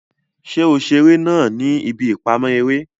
Ṣe o ṣeré náà ní ibí ipamọ eré?